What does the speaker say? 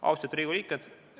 Austatud Riigikogu liikmed!